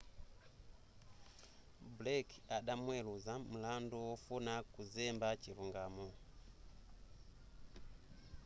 blake adamuweluza mlandu wofuna kuzemba chilungamo